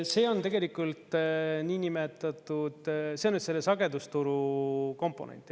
See on tegelikult niinimetatud, see on selle sagedusturu komponent.